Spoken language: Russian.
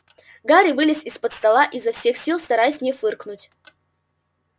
гарри вылез из-под стола изо всех сил стараясь не фыркнуть